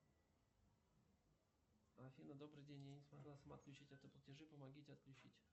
афина добрый день я не смогла сама отключить автоплатежи помогите отключить